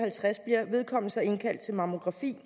vedkommende så indkaldt til mammografi